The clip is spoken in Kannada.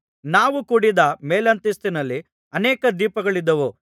ನಾವು ಕೂಡಿದ್ದ ಮೇಲಂತಸ್ತಿನಲ್ಲಿ ಅನೇಕ ದೀಪಗಳಿದ್ದವು